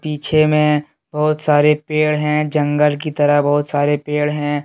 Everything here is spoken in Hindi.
पीछे में बहुत सारे पेड़ हैं जंगल की तरफ बहुत सारे पेड़ हैं।